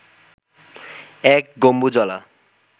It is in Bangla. এক গম্বুজওয়ালা